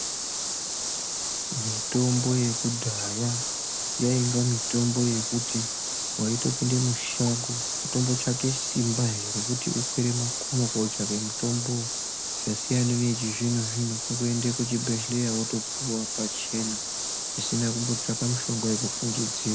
Mitombo yekudhaya yainge mitombo yekuti waitopinde mushango kutombotsvake simba he, rekuti ukwire makomo kotsvake mitombo, zvasiyana neyechizvino-zvino, kungoende kuchibhedhlera wopiwa pachena zvisina kumbotsvaga mushonga wekufungidzira.